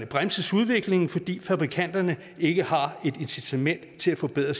bremses udviklingen fordi fabrikanterne ikke har et incitament til at forbedre